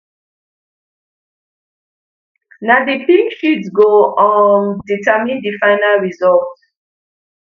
na di pink sheet go um determine di final results